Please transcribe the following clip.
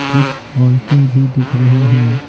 कुछ औरतें भी दिख रही हैं।